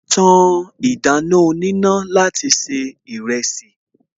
Ta ìdáná oníná láti se ìrẹsì